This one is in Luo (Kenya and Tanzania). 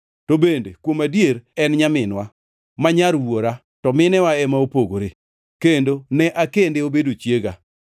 To bende, kuom adier en nyaminwa, ma nyar wuora, to minewa ema opogore; kendo ne akende obedo chiega.